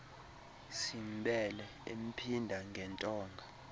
simbele emphinda ngentonga